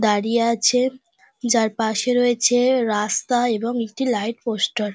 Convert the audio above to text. বাড়ি আছে যার পাশে রয়েছে রাস্তা এবং একটি লাইট পোস্টার ।